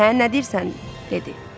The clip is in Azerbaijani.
Hə nə deyirsən, dedi.